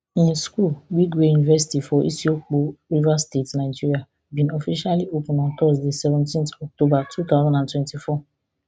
im school wigwe university for isiokpo rivers state nigeria bin officially open on thursday seventeen october two thousand and twenty-four